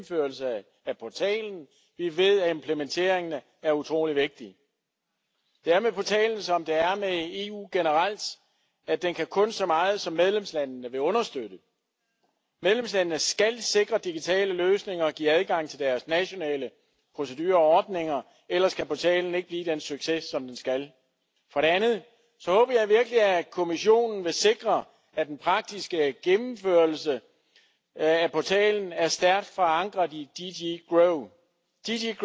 Both of those groups should be able to enjoy the opportunities that the single market offers them. Also thanks to this new instrument, small businesses let me underline this will save costs, more easily innovate and more easily expand across Europe. Let me also mention one important thing with your help we can bring to reality another important promise of the digital single market strategy